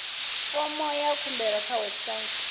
fomo ya khumbelo kha website